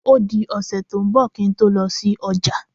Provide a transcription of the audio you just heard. Ó di ọ̀sẹ̀ tó ń bọ̀ kí n tó lọ sí ọjà.